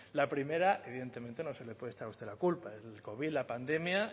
la primera evidentemente no se le puede echar a usted la culpa el covid la pandemia